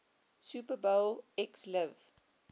super bowl xliv